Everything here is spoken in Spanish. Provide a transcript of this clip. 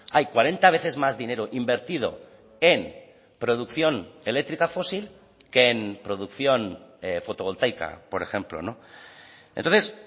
hay cuarenta veces más dinero invertido en producción eléctrica fósil que en producción fotovoltaica por ejemplo entonces